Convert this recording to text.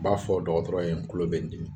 I b'a fɔ dɔgɔtɔrɔ ye n kulo be n dimi